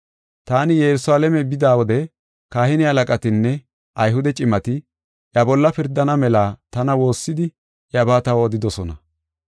Taani Yerusalaame bida wode kahine halaqatinne Ayhude cimati iya bolla pirdana mela tana woossidi iyabaa taw odidosona.